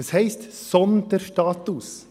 Was heisst «Sonderstatus»?